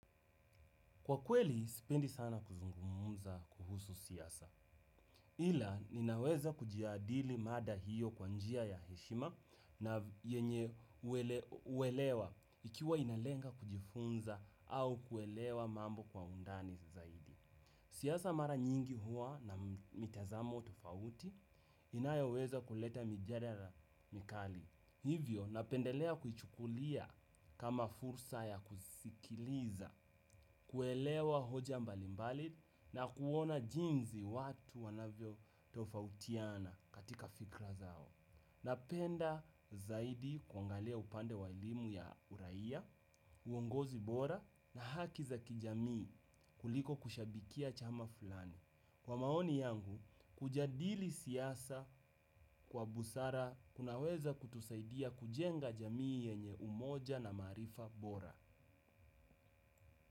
Kwa kweli, sipendi sana kuzungumuza kuhusu siyasa. Ila, ninaweza kujiadili mada hiyo kwa njia ya heshima na yenye uelewa ikiwa inalenga kujifunza au kuelewa mambo kwa undani zaidi. Siyasa mara nyingi huwa na mitazamo tofauti inayaweza kuleta mijadala mikali. Hivyo napendelea kuichukulia kama fursa ya kusikiliza, kuelewa hoja mbalimbali na kuona jinzi watu wanavyo tofautiana katika fikra zao. Napenda zaidi kwangalia upande wa ilimu ya uraia, uongozi bora na haki za kijamii kuliko kushabikia chama fulani. Kwa maoni yangu, kujadili siyasa kwa busara kunaweza kutusaidia kujenga jamii yenye umoja na maarifa bora.